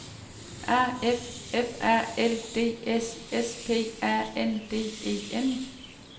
A F F A L D S S P A N D E N